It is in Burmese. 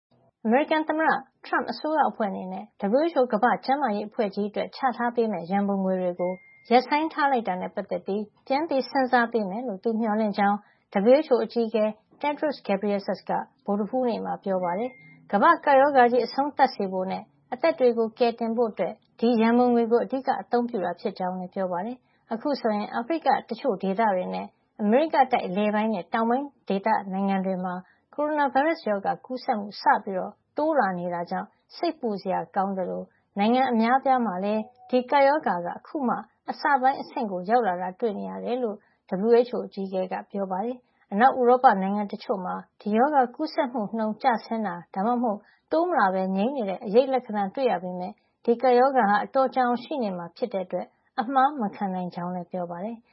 အမေရိကန်သမ္မတ ထရမ့် အစိုးရအဖွဲ့ အနေနဲ့ WHO ကမ္ဘာ့ကျန်းမာရေး အဖွဲ့ ကြီးအတွက် ချထားပေးမယ့် ရန်ပုံငွေတွေကို ရပ်ဆိုင်းထားလိုက်တာနဲ့ ပတ်သက်ပြီး ပြန်စဉ်းစား ပေးမယ်လို့သူ မျှော်လင့်ကြောင်း WHO အကြီးအကဲ Tedros Adhanom Ghebreyesus က ဗုဒ္ဓဟူးနေ့မှာ ပြောပါတယ်။ ကမ္ဘာ့ကပ်ရောဂါကြီး အဆုံးသတ်စေဖို့နဲ့ အသက်တွေကို ကယ်တင်ဖို့ ဒီရန်ပုံငွေကို အဓိက အသုံးပြုတာ ဖြစ်ကြောင်းလည်း ပြောပါတယ်။ အခုဆိုရင် အာဖရိက တချို့ ဒေသတွေနဲ့ အမေရိကတိုက် အလယ်ပိုင်းနဲ့တောင်ပိုင်း ဒေသ နိုင်ငံတွေမှာ ကိုရိုနာဗိုင်းရပ်စ် ရောဂါ ကူးစက်မှုစပြီး တိုးလာနေတာကြောင့် စိတ်ပူစရာ ကောင်းသလို နိုင်ငံအများအပြားမှာလည်း ဒီကပ်ရောဂါ အခုမှ အစပိုင်း အဆင့်ကို ရောက်လာတာတွေ့ နေရတယ်လို့ WHO အကြီးအကဲ က ဗုဒ္ဓဟူးနေ့ ဂျနီဗာ သတင်းစာ ရှုင်းလင်းပွဲမှာ ပြောပါတယ်။ အနောက် ဥရောပ နိုင်ငံတချို့မှာ ဒီရောဂါကူးစက်မှု နှုန်း ကျဆင်းတာ ဒါမှမဟုတ် တိုးမလာပဲ တည်ငြိမ်နေတဲ့ အရိပ်လက္ခဏာတွေ တွေ့နေရပေမယ့် ဒီကပ်ရောဂါဟာ အတော်ကြာအောင် ရှိနေမှာ ဖြစ်တဲ့ အတွက် အမှားမခံနိုင်ကြောင်းလည်း ပြောပါတယ်။